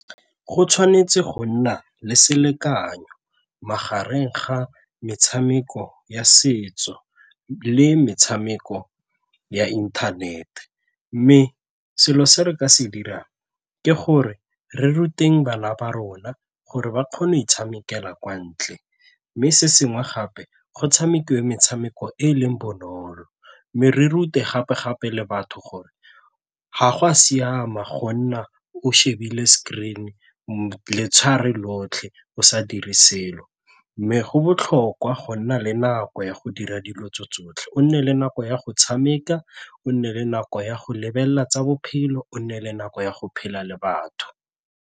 Go tshwanetse go nna le selekanyo magareng ga metshameko ya setso le metshameko ya inthanete mme selo se re ka se dirang ke gore re ruteng bana ba rona gore ba kgone e tshamekela kwa ntle mme se sengwe gape go tshamekiwe metshameko e e leng bonolo mme re rute gape-gape le batho gore ga go a siama go nna o shebile screen lotlhe o sa dire selo. Mme go botlhokwa go nna le nako ya go dira dilo tsotlhe, o nne le nako ya go tshameka, o nne le nako ya go lebelela tsa bophelo, o nne le nako ya go phela le batho.